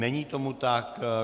Není tomu tak.